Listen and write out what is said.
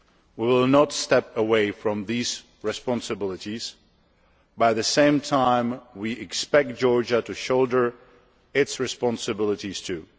We will not step away from these responsibilities, but at the same time we expect Georgia to shoulder its responsibilities too.